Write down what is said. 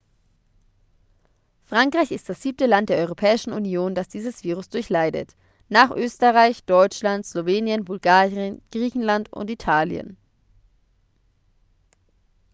frankreich ist das siebte land der europäischen union das dieses virus durchleidet nach österreich deutschland slowenien bulgarien griechenland und italien